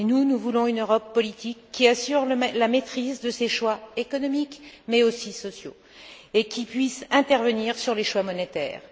Mais, nous, nous voulons une Europe politique qui assure la maîtrise de ses choix économiques mais aussi sociaux et qui puisse intervenir sur les choix monétaires.